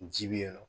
Ji bɛ yen nɔ